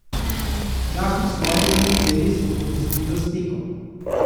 Včasih svoje treninge res popestriva s tekom.